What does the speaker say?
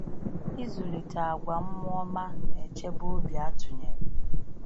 Ịzụlite àgwà mmụọ ọma na-echebe obi atụnyere.